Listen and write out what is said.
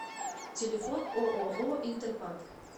телефон ооо интерпак